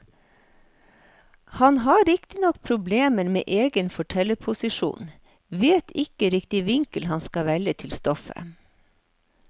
Han har riktignok problemer med egen fortellerposisjon, vet ikke riktig hvilken vinkel han skal velge til stoffet.